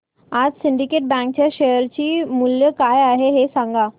आज Syndicate bank च्या share चे मूल्य काय आहे हे सांगा